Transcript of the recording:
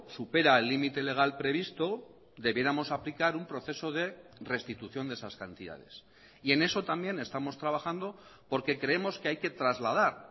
supera el límite legal previsto debiéramos aplicar un proceso de restitución de esas cantidades y en eso también estamos trabajando porque creemos que hay que trasladar